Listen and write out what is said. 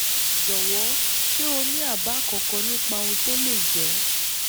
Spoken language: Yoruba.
jọ̀wọ́ ṣé o ní àbá kankan nípa ohun tó lè jẹ́?